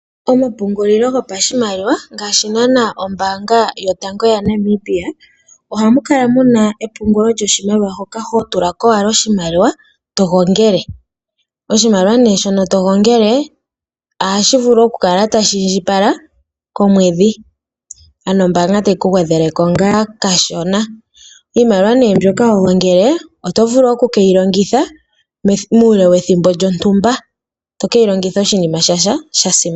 Omapungulilo gopashimaliwa ngaashi naana ombaanga yotango yopashigwana ohamukala muna epungulo lyoshimaliwa hoka hotulako owala oshimaliwa togongele. Oshimaliwa ne shono togongele, ohashi vulu okukala tashi indjipala komwedhi, ano ombaanga tayi kugwedheleko ngaa kashona. Iimaliwa ne mbyoka hogongele oto vulu okukeyilongitha muule wethimbo lyontumba, tokeyilongitha oshinima shatya shasimana.